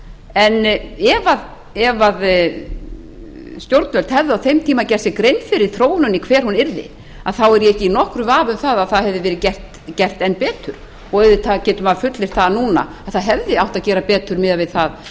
en ef stjórnvöld hefðu á þeim tíma gert sér grein fyrir þróuninni hver hún yrði þá er ég ekki í nokkrum vafa um að það hefði verið gert enn betur auðvitað getur maður fullyrt það núna að það hefði átt að gera betur miðað við það